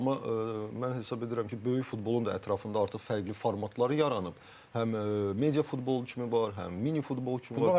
Amma mən hesab edirəm ki, böyük futbolun da ətrafında artıq fərqli formatlar yaranıb, həm media futbolu kimi var, həm mini futbol kimi var.